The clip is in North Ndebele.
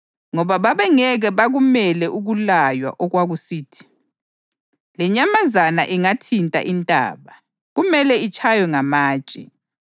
ngoba babengeke bakumele ukulaywa okwakusithi: “Lenyamazana ingathinta intaba, kumele itshaywe ngamatshe.” + 12.20 U-Eksodasi 19.12-13